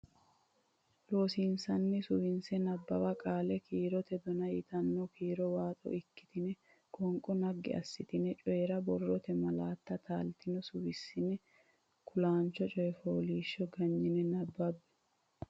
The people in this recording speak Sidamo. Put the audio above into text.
Loossinanni Suwise Nabbawa qaali kiirote dona yitanno kiiro waaxo ikkitine qoonqo naggi assitine Coyi ra borrote malaatta taaltino suwissine Kulaancho Coy fooliishsho Ganyine nabbabbe.